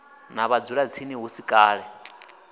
na vhadzulatsini hu si kale